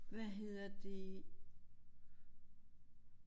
Hvad hedder det